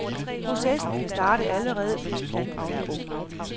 Processen kan starte allerede mens planten er ung.